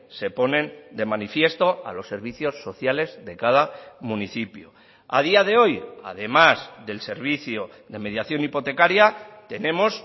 se ponen de manifiesto a los servicios sociales de cada municipio a día de hoy además del servicio de mediación hipotecaria tenemos